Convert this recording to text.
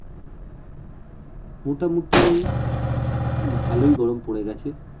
মোটামুটি ভালই গরম পরে গেছে